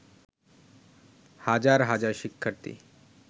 হাজার হাজার শিক্ষার্থী